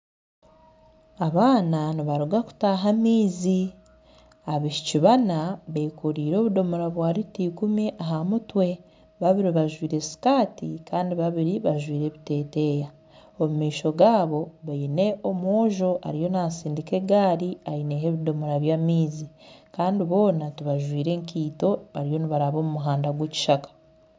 Abaana nibaruga kutaha amaizi abaishiki bana bekoreire obudomora bwa lita ikumi aha mutwe babiri bajwaire sikati Kandi babiri bajwaire ebiteteya omu maisho gaabo baine omwojo ariyo nasindika egaari aine ebidomora by'amaizi Kandi boona tibajwaire nkaito bariyo nibaraba omu muhanda gwekishaka